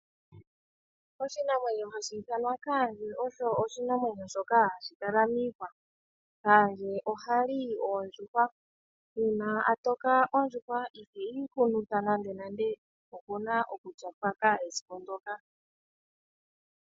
Oshinamwenyo hashi thanwa kandje osho oshinamwenyo shoka hashikala miihwa. Kaandje ohali oondjuhwa uuna atoka ondjuhwa iiheyi hunuthi nanda nande opuna okutya pwaka esiku ndoka.